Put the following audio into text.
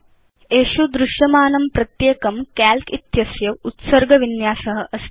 एषु दृश्यमानं प्रत्येकं काल्क इत्यस्य उत्सर्ग विन्यास अस्ति